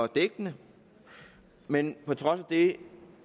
dækkende men på trods af det